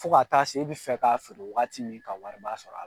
Fo ka t'a se e bɛ fɛ k'a feere waati min ka wari sɔrɔ!